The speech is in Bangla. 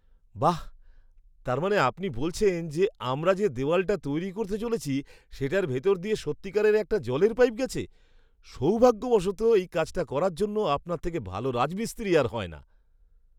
বাহ্, তার মানে আপনি বলছেন যে আমরা যে দেওয়ালটা তৈরি করতে চলেছি সেটার ভেতর দিয়ে সত্যিকারের একটা জলের পাইপ গেছে? সৌভাগ্যবশত, এই কাজটা করার জন্য আপনার থেকে ভালো রাজমিস্ত্রি আর হয় না।